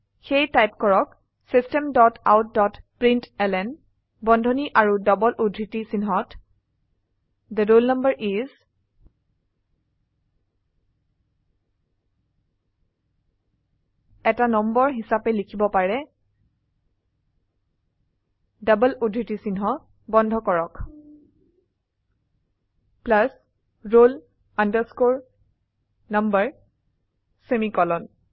সেয়ে টাইপ কৰক system dot out dot println বন্ধনী আৰু ডবল উদ্ধৃতি চিন্হত থে ৰোল নাম্বাৰ ইচ এটা নাম্বাৰ হিসাবে লিখিব পাৰে ডবল উদ্ধৃতি চিহ্ন বন্ধ কৰক roll number সেমিকোলন